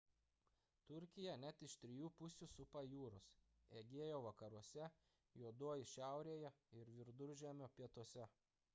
turkiją net iš trijų pusių supa jūros egėjo vakaruose juodoji šiaurėje ir viduržemio pietuose